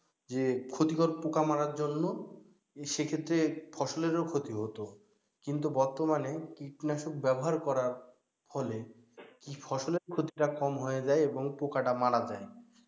যে ক্ষতিকর পোকা মারার জন্য সেক্ষেত্রে ফসলেরও ক্ষতি হতো, কিন্তু বর্তমানে কীটনাশক ব্যবহার করার ফলে কি ফসলের ক্ষতিটা কম হয়ে যায় এবং পোকাটা মারা যায়।